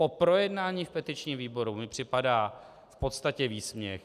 Po projednání v petičním výboru mi připadá v podstatě výsměch.